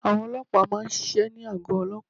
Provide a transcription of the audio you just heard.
Àwọn olóòpá má a nsisé ní àgọ́ olóòpá